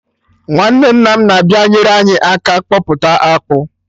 Nwanne nna m na-abịa enyere anyị aka kpọpụta akpụ